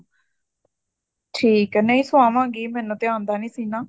ਨਹੀਂ ਸਵਾਵਾਂਗੀ ਮੈਨੂੰ ਤਾਂ ਆਉਂਦਾ ਨੀ ਸੀਣਾ